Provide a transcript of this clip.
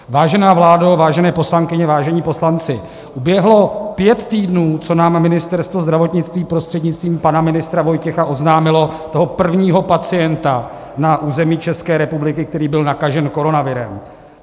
Vážené vládo, vážené poslankyně, vážení poslanci, uběhlo pět týdnů, co nám Ministerstvo zdravotnictví prostřednictvím pana ministra Vojtěcha oznámilo toho prvního pacienta na území České republiky, který byl nakažen koronavirem.